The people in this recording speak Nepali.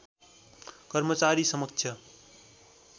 कर्मचारी समक्ष